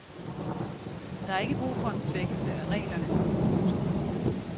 Der er ikke brug for en svækkelse af reglerne. punktum